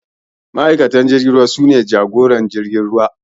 Ma'aikatan jirgin ruwa sun jagora jiragen